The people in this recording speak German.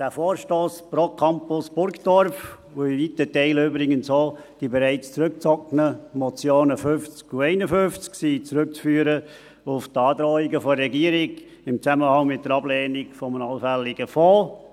Der Vorstoss pro Campus Burgdorf, und übrigens auch in weiten Teilen die bereits zurückgezogenen Motionen der Geschäfte 50 und 51 sind zurückzuführen auf die Androhungen der Regierung in Zusammenhang mit der Ablehnung eines allfälligen Fonds.